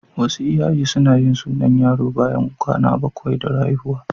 Wasu iyaye suna yin sunan yaro bayan kwana bakwai da haihuwa.